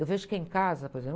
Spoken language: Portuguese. Eu vejo quem casa, por exemplo.